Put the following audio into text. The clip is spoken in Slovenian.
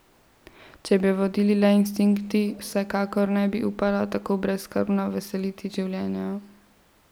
Če bi jo vodili le instinkti, se vsekakor ne bi upala tako brezskrbno veseliti življenja.